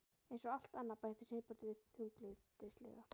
Eins og allt annað- bætti Sveinbjörn við þunglyndislega.